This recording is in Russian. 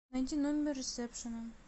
найди номер ресепшена